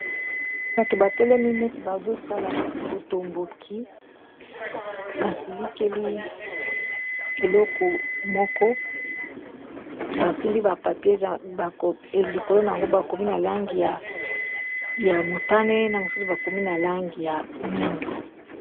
Bato batelemineti bazosala botomboki basilikeli eloko moko basimbi bapapie likolo na yango bakomi na langi ya motane, na mosusu bakomi na langi ya mwindo